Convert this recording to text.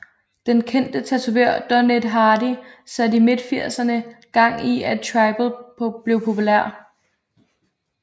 Den kendte tatovør Don Ed Hardy satte i midtfirserne gang i at tribal blev populær